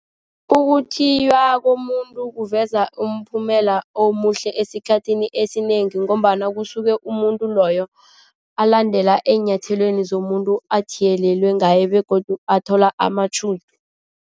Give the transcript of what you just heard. Ukuthiywa komuntu kuveza umphumela omuhle esikhathini esinengi ngombana kusuke umuntu loyo alandela eenyathelweni zomuntu athiyelelwe ngaye begodu athola amatjhudu.